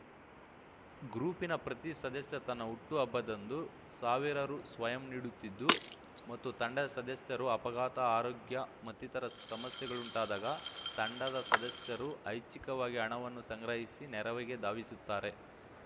ಗ್ರೂಪಿನ ಪ್ರತೀ ಸದಸ್ಯ ತನ್ನ ಹುಟ್ಟು ಹಬ್ಬದಂದು ಸಾವಿರ ರು ಸ್ವಯಂ ನೀಡುತ್ತಿದ್ದು ಮತ್ತು ತಂಡದ ಸದಸ್ಯರು ಅಪಘಾತ ಆರೋಗ್ಯ ಮತ್ತಿತರ ಸಮಸ್ಯೆಗಳುಂಟಾದಾಗ ತಂಡದ ಸದಸ್ಯರು ಐಚ್ಚಿಕವಾಗಿ ಹಣವನ್ನು ಸಂಗ್ರಹಿಸಿ ನೆರವಿಗೆ ಧಾವಿಸುತ್ತಾರೆ